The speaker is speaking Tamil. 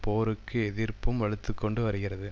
போருக்கு எதிர்ப்பும் வலுத்துக்கொண்டு வருகிறது